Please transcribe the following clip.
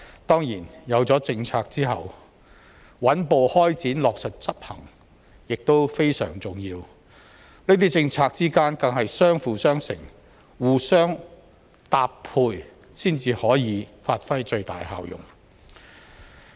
當然，有了政策後，穩步開展、落實執行亦非常重要，這些政策之間更是相輔相成，互相搭配才可發揮最大效用。